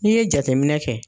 N'i ye jateminɛ kɛ